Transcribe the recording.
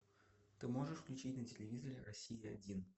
ты можешь включить на телевизоре россия один